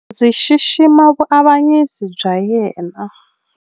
Ndzi xixima vuavanyisi bya yena.